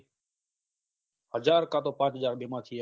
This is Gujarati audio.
હજાર કા તો પાંચ હજાર બે માંથી એક